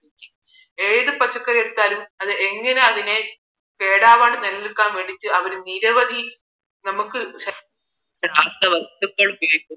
ഏത് പച്ചക്കറി എടുത്താലും അത് എങ്ങനെ അതിനെ കേടാവാണ്ട് നിലനിൽക്കാൻ വേണ്ടിയിട്ട് അവർ നിരവധി നമുക്ക് രാസവസ്തുക്കൾ ഉപയോഗിക്കും